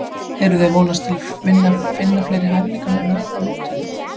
Eruði að vonast til að finna fleiri hæfileikamenn með á mótinu?